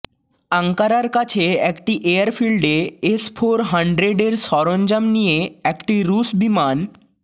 আঙ্কারার কাছে একটি এয়ারফিল্ডে এস ফোর হানড্রেডের সরঞ্জাম নিয়ে একটি রুশ বিমান